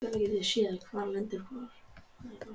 Ég gæti bankað upp á og þóst vera arkitekt.